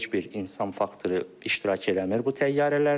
Burada heç bir insan faktoru iştirak eləmir bu təyyarələrdə.